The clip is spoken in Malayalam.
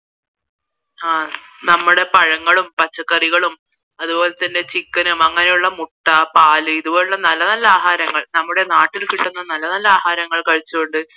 ആ നമ്മളെ പഴങ്ങളും പച്ചക്കറികളും അതുപോലെ തന്നെ chicken അങ്ങനെയുള്ള മുട്ട പാൽ ഇതുപോലുള്ള നല്ല നല്ല ആഹാരങ്ങൾ നമ്മുടെ നാട്ടിൽ കിട്ടുന്ന നല്ല നല്ല ആഹാരങ്ങൾ കഴിച്ചു കൊണ്ട്